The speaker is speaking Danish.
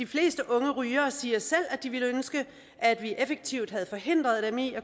fleste unge rygere siger selv at de ville ønske at vi effektivt havde forhindret dem i at